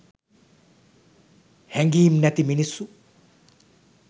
හැඟීම් නැති මිනිස්සු